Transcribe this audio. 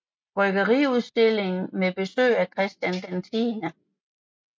Bryggeriudstilling med besøg af Christian X